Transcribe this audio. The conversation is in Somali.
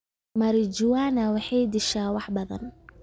Marijuana waxay dishaa wax badan